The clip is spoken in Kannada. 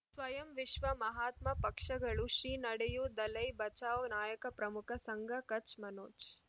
ಸ್ವಯಂ ವಿಶ್ವ ಮಹಾತ್ಮ ಪಕ್ಷಗಳು ಶ್ರೀ ನಡೆಯೂ ದಲೈ ಬಚೌ ನಾಯಕ ಪ್ರಮುಖ ಸಂಘ ಕಚ್ ಮನೋಜ್